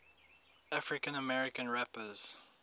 african american rappers